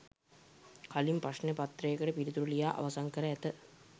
කලින්ම ප්‍රශ්න පත්‍රයට පිළිතුරු ලියා අවසන් කර ඇත